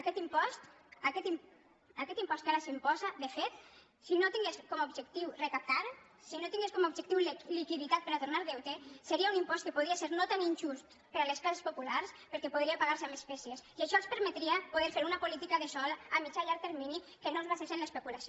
aquest impost aquest impost que ara s’imposa de fet si no tingués com a objectiu recaptar si no tingués com a objectiu liquiditat per a tornar deute seria un impost que podria ser no tant injust per a les classes populars perquè podria pagar se amb espècies i això els permetria poder fer una política de sòl a mitjà i a llarg termini que no es basés en l’especulació